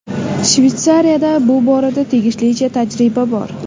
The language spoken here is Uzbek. Shveysariyada bu borada tegishlicha tajriba bor.